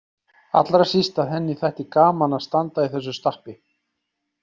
Allra síst að henni þætti gaman að standa í þessu stappi.